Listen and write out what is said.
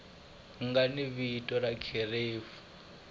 nga ni vito na kherefu